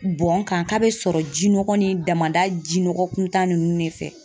Bɔn n kan k'a bɛ sɔrɔ jinɔgɔ ni damada jinɔgɔ kuntan ninnu de fɛ